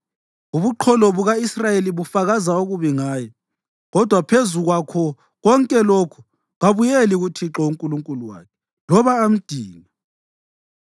Ubuqholo buka-Israyeli bufakaza okubi ngaye, kodwa phezu kwakho konke lokhu kabuyeli kuThixo uNkulunkulu wakhe loba amdinge.